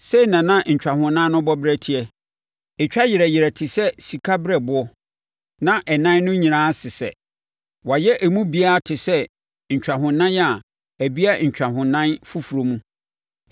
Sei na na ntwahonan no bɔberɛ teɛ: ɛtwa yerɛ yerɛ te sɛ sikabereɛboɔ, na ɛnan no nyinaa sesɛ. Wɔayɛ emu biara te sɛ ntwahonan a ɛbea ntwahonan foforɔ mu.